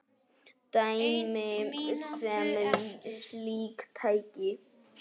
Dæmi um slík tæki